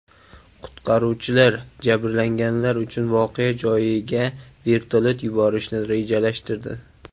Qutqaruvchilar jabrlanganlar uchun voqea joyiga vertolyot yuborishni rejalashtirdi.